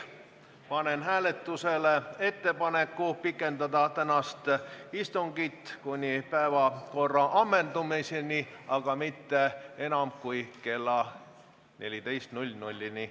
Panen hääletusele ettepaneku pikendada tänast istungit kuni päevakorra ammendumiseni, aga mitte kauem kui kella 14-ni.